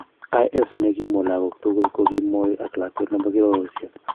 IS ne kimwa lagok tugul ko kimoi ak lakwet nebo kirororisiek.